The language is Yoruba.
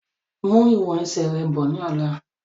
Mú ìwọ̀n ẹsẹ̀ rẹ bọ̀ ni ọ̀la!